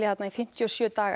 þarna í fimmtíu og sjö daga